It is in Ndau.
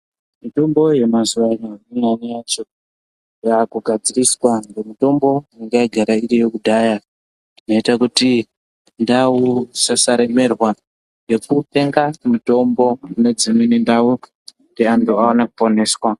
Mitombo yemazuwano imwe yacho yakugadziriswa ngemitombo yanga yagara iriyo kudhaya, yoita kuti ndau isasaremerwa ngekutenga mitombo kune dzimweni ndau kuti antu vaone kuponeswa.